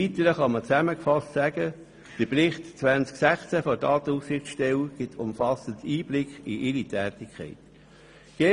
Im Weitern kann man zusammengefasst sagen, dass der Bericht 2016 der Datenschutzaufsichtsstelle umfassend Einblick in ihre Tätigkeit gibt.